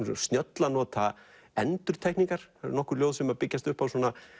svo snjöll að nota endurtekningar það eru nokkur ljóð sem byggjast upp á